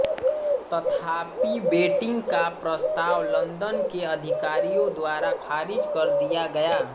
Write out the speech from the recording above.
तथापि बेंटिक का प्रस्ताव लंदन के अधिकारियों द्वारा खारिज कर दिया गया